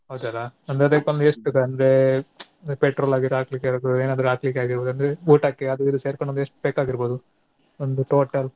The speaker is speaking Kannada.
ಹೌದಲ್ಲ ಒಂದು ಅದ್ಕೊಂದು ಎಷ್ಟು ಒಂದ್ petrol ಆಗ್ಲಿ ಹಾಕ್ಲಿಕ್ಕೆ ಎನಕ್ಕೊ ಏನಾದ್ರೂ ಹಾಕ್ಲಿಕ್ಕೆ ಆಗೀರ್ಬೋದು ಅಂದ್ರೆ ಊಟಕ್ಕೆ ಅದು ಇದು ಸೇರ್ಕೊಂಡ್ ಒಂದ್ ಎಸ್ಟ್ ಬೇಕಾಗಿರ್ಬೋದು ಒಂದು total ?